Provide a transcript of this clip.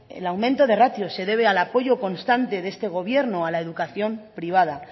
el aumento de ratio se debe al apoyo constante de este gobierno a la educación privada